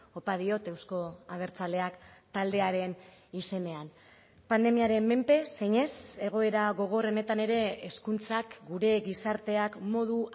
opa diot eusko abertzaleak taldearen izenean pandemiaren menpe zinez egoera gogorrenetan ere hezkuntzak gure gizarteak modu